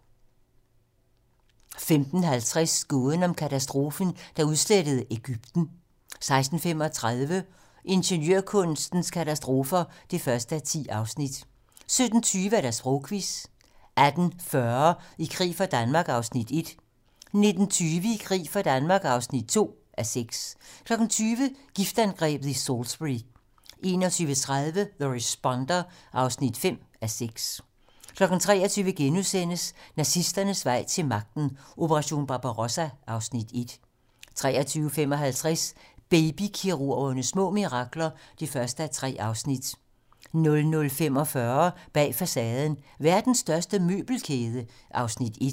15:50: Gåden om katastrofen, der udslettede Egypten 16:35: Ingeniørkunstens katastrofer (1:10) 17:20: Sprogquizzen 18:40: I krig for Danmark (1:6) 19:20: I krig for Danmark (2:6) 20:00: Giftangrebet i Salisbury 21:30: The Responder (5:6) 23:00: Nazisternes vej til magten: Operation Barbarossa (Afs. 1)* 23:55: Baby-kirurgernes små mirakler (1:3) 00:45: Bag facaden: Verdens største møbelkæde (Afs. 1)